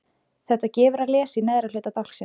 Þetta gefur að lesa í neðra hluta dálksins